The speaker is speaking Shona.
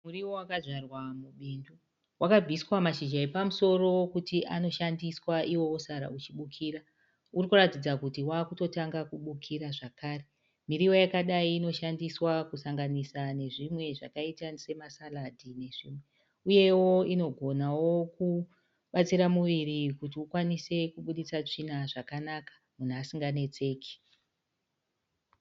Muriwo wakazvarwa mubindu . Wakabviswa mashizha epa musoro kuti anoshandiswa iwo wosara uchibukira. Uri kuratidza kuti wakutotanga bukira zvakare. Miriwo yakadai inoshandiswa kusanganisa nezvimwe zvakaita semasaradhi nezvimwe uyewo inogonawo kubatsira muviri kuti ukwanise kubuditsa tsvina zvakanaka munhu asinganetseki.